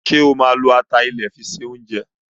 Sọ ma lo atalẹ̀ fi se oúnjẹ?